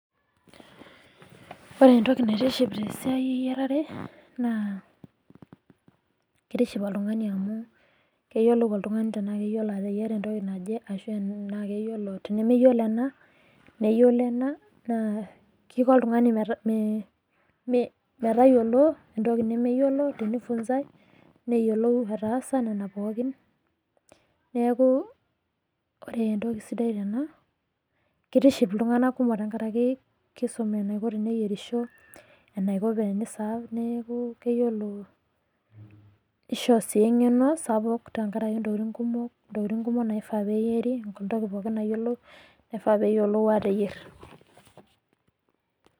Ore entoki naitiship tesiai eyiarare, naa kitiship oltung'ani amu keyiolou oltung'ani tenaa keyiolo ateyiara entoki naje, ashu tenemeyiolo ena, neyiolo ena, naa kiko oltung'ani metayiolo entoki nemeyiolo tenifunzai, neyiolou ataasa nena pookin. Neeku ore entoki sidai tena, kitiship iltung'anak kumok tenkaraki kisum enaiko teneyierisho, enaiko teni serve neeku keyiolo nisho si eng'eno sapuk tenkaraki ntokiting kumok, ntokiting kumok naifaa peyieri, entoki pookin nayioloi nifaa peyiolou ateyier.